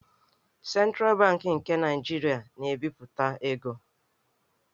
Sentral Bankị nke Naịjirịa na-ebipụta ego.